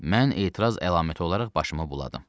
Mən etiraz əlaməti olaraq başımı buladım.